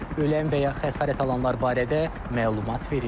Ölən və ya xəsarət alanlar barədə məlumat verilməyib.